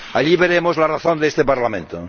Allí veremos la razón de este Parlamento.